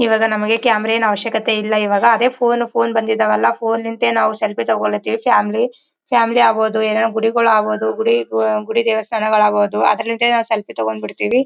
ಇವಗ ನಮಗೆ ಕ್ಯಾಮರಾ ಏನ್ ಅವಶ್ಯಕತೆ ಇಲ್ಲಾ. ಅದೇ ಫೋನ್ ಫೋನ್ ಬಂದಿದಾವಲ್ಲಾ ಫೋನ್ ನಾವು ಸೆಲ್ಫಿ ತಗೋತೀವಿ ಫ್ಯಾಮಿಲಿ ಫ್ಯಾಮಿಲಿ ಅಗಬಹುದು ಏನಾದ್ರು ಗುಡಿಗಳು ಆಗಬಹುದು ಗುಡಿ ಗುಡಿ ದೇವಸ್ಥಾನಗಳು ಆಗಬಹುದು ಅದ್ರಿಂದೆ ನಾವು ಸೆಲ್ಫಿ ತಗೊಂಡ್ ಬಿಡ್ತಿವಿ.